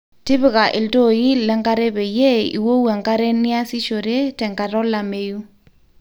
tipika iltooi le nkare peyie iwou enkare niasishore te enkata olameyu